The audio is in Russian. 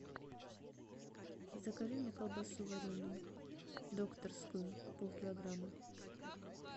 закажи мне колбасу вареную докторскую полкилограмма